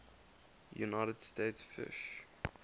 united states fish